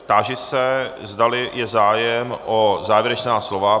Táži se, zdali je zájem o závěrečná slova.